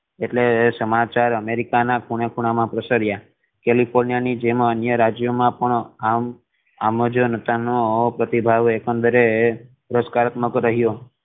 એટલે સમાચાર અમેરિકા ના ખૂણે ખૂણામાં પ્રસર્યા કેલિફોર્નિયા ની જેમ અન્ય રાજ્ય મા પણ આમ આમજ નોર્ટન નો પ્રતિભાવે એકંદરે પુરુસ્કાત્મક રહીયો